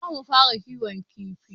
Za mu fara kiwon kifi.